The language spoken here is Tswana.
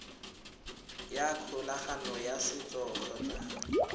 ya kgolagano ya setso kgotsa